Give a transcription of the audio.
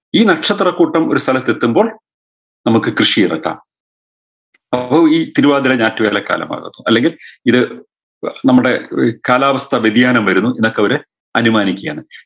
ഈ നക്ഷത്രക്കൂട്ടം ഒരു സ്ഥലത്തെത്തുമ്പോൾ നമുക്ക് കൃഷി ഇറക്കാം അപ്പൊ ഈ തിരുവാതിര ഞാറ്റുവേലക്കാലമാകുന്നു അല്ലെങ്കിൽ ഇത് നമ്മുടെ കാലാവസ്ഥ വ്യതിയാനം വരുന്നു എന്നൊക്കെ ഇവര് അനുമാനിക്കയാണ്